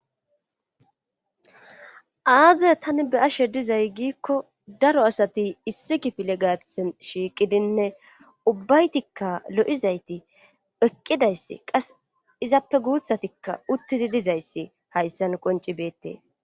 Aazaya tani be7ashe dizay giikko daro asati issi kifile gaathen shiiqidinne ubbaytikka lo7izayti eqqidayssi qas izappe guuthatikka uttidi dizayssi hayssan qonci beettees.